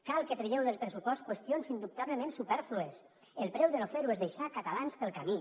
cal que tragueu del pressupost qüestions indubtablement supèrflues el preu de no fer ho és deixar catalans pel camí